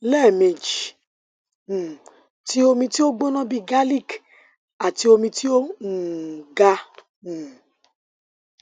lẹmeji um ti omi ti o gbona bii garlic ati omi ti o um ga um